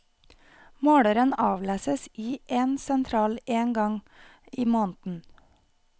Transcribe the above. Måleren avleses i en sentral én gang i måneden.